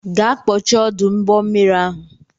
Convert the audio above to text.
Gaa kpọchie ọdụ ụgbọmmiri ahụ!